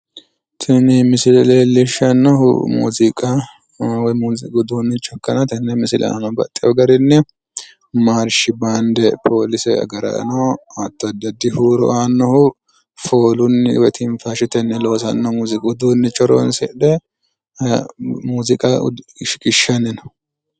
Tini misile leellishannohu muuziiqa woyi muuziiqu uduunnicho ikkanna tenne misile aana baxxewo garinni maarshi baande poolise agaraano hatti addi addi huuro aannohu foolunni woyi tinfaashetenni loosannoha muuziiqu uduunnicho horoonsidhe muuziiqa shiqishanni no